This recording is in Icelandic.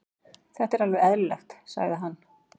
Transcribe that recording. Þetta er alveg eðlilegt, sagði hann.